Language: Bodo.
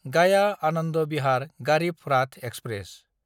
गाया–आनन्द बिहार गारिब राथ एक्सप्रेस